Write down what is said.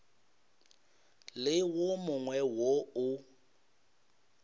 le wo mongwe wo o